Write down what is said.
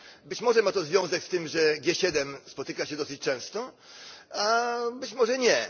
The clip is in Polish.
Być może ma to związek z tym, że G7 spotyka się dosyć często, a być może nie.